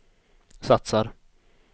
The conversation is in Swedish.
satsar